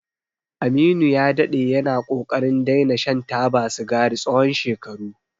Aminu ya daɗe yana ƙoƙarin daina shan taba sigari tsawon shekaru.